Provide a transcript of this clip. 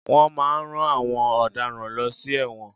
Wọ́n máà ń rán àwọn ọ̀daràn lọ sí ẹ̀wọ̀n.